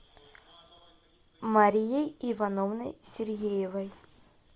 марией ивановной сергеевой